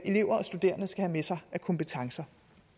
elever og studerende skal have med sig af kompetencer